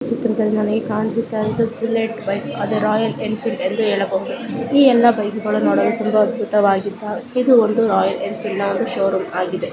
ಚಿತ್ರದಲ್ಲಿ ನಮಗೆ ಕಾಣಿಸುತ್ತಾಯಿರುವುದು ಇದು ಬುಲೆಟ್ ಬೈಕ್ ಅದೇ ರಾಯಲ್ ಎಂಫಿಲ್ಡ್ ಎಂದು ಏಳಬಹುದು ಈ ಎಲ್ಲಾ ಬೈಕುಗಳು ನೋಡಲು ತುಂಬಾ ಅದ್ಭುತವಾಗಿದ್ದಾವೆ । ಇದು ಒಂದು ರಾಯಲ್ ಎಂಫಿಲ್ಡ್ ವನ್ನು ಶೋರೊಮ್ ಆಗಿದೆ.